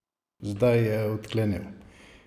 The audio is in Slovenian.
Zdaj je odklenil.